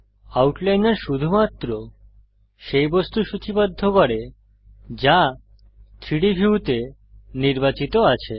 আউটলাইনর শুধুমাত্র সেই বস্তু সূচীবদ্ধ করে যা 3ডি ভিউতে নির্বাচিত আছে